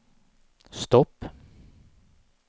stopp